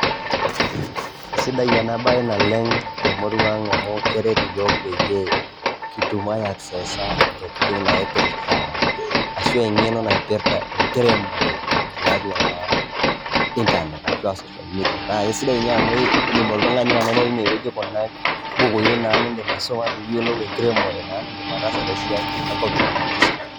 Sidai ena baye naleng' te murua ang' amu keret iyiok peyie kitum aiccessa ntokitin naipirta ashu eng'eno naipirta enkiremore tiatua naa internet ashu a social media. Naake sidai ninye amu indim oltung'ani anoto tine wueji kuna bukui naa iindim aisoma pee iyolou enkiremore niindim ataasa te siai enkop ino.